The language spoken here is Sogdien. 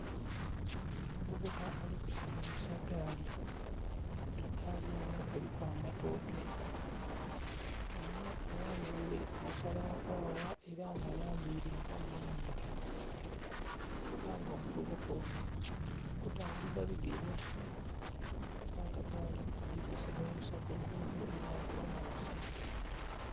Omuvubuka ali kusilingisa gaali, egaali eno eliku amatooke, ono ayambaile omusalankwagha ela nga ayambaile empale enhimpi ela nga omuvubuka ono ali kutambuza bigere ela nga gaali aligisilingisa ku luguudo olwa kolansi.